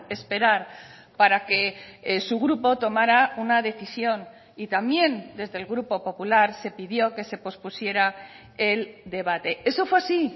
esperar para que su grupo tomara una decisión y también desde el grupo popular se pidió que se pospusiera el debate eso fue así